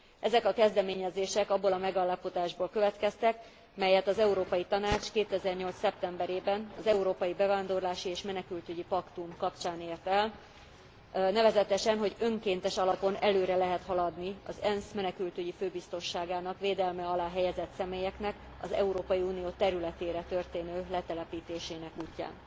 Ezek a kezdeményezések abból a megállapodásból következtek, melyet az Európai Tanács 2008 szeptemberében az európai bevándorlási és menekültügyi paktum kapcsán ért el. Nevezetesen, hogy önkéntes alapon előre lehet haladni az ENSZ Menekültügyi Főbiztosságának védelme alá helyezett személyeknek az Európai Unió területére történő letelepítésének útján.